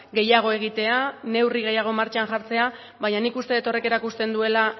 gehiago egitea neurri gehiago martxan jartzea baina nik uste dut horrek erakusten duela